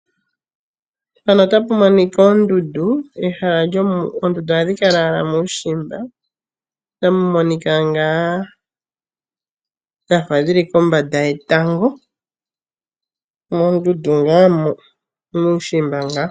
Mpano otapu monika oondundu. Oondundu ohadhi kala owala muushimba. Otamu monika ngaa dhafa dhili kombanda yetango, moondundu ngaa mo. Muushimba ngaa.